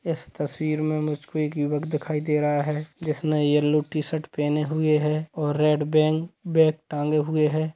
इस तस्वीर में मुझे एक युवक दिखाई दे रहा है जिसने येलो कलर की टीशर्ट पहने हुए है और रेड बैग भी टाँगे हुए हैं ।